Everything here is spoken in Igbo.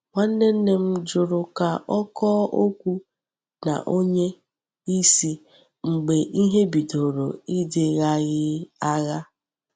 Nwanne m jụrụ ka ọ kọọ okwu na onye isi mgbe ihe bidoro ịdịghaghị agha.